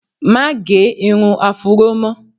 Má gẹ irun afúró mọ́!